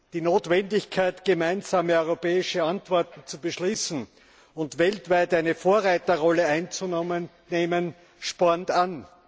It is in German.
Die Notwendigkeit, gemeinsame europäische Antworten zu beschließen und weltweit eine Vorreiterrolle einzunehmen, spornt an.